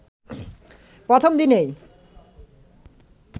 প্রথম দিনেই